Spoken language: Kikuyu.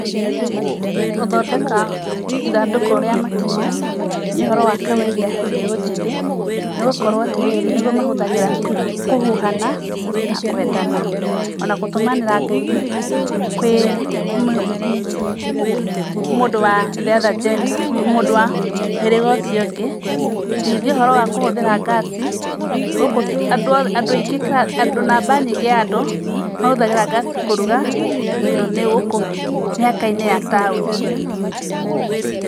Gũthondeka ithandũkũ rĩa matimũ nĩ ũhoro wa kawaida kwĩ mbeũ njĩthĩ nĩ gũkorwo atĩ rĩrĩ, nĩgũo mahũthagĩra kũhuhana na kũendana. O na kũtũmanĩra ngeithi kwĩ mũndũ wa the other gender mũndũ wa mũhĩrĩga ũcio ũngĩ. Ningĩ ũhoro wa kũhũrũthĩra gas, gũkũ andũ othe andũ aingĩ andũ namba nyingĩ ya andũ mahũthagĩra gas kũruga tondũ nĩ gũkũ mĩhaka-inĩ ya taũni.